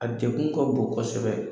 A dekun ka bon kɔsɛbɛ.